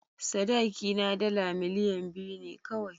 Sadakina dala miliyan biyu ne kawai.